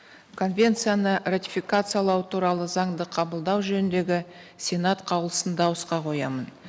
конвенцияны ратификациялау туралы заңды қабылдау жөніндегі сенат қаулысын дауысқа қоямын